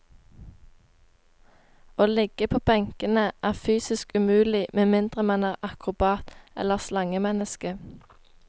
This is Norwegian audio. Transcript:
Å ligge på benkene er fysisk umulig med mindre man er akrobat eller slangemenneske.